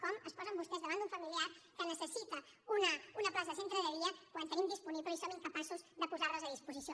com es posen vostès davant d’un familiar que necessita una plaça de centre de dia quan en tenim disponibles i som incapaços de posar les a disposició